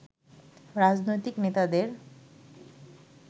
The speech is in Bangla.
রাজনৈতিক নেতাদের